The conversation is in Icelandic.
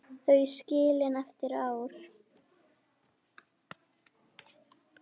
Þau skilin eftir árið.